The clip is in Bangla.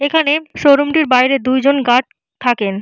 এখানে শোরুম টির বাইরে দুজন গার্ড থাকেন।